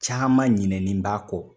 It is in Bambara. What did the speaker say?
Caman ɲinɛnen b'a kɔ.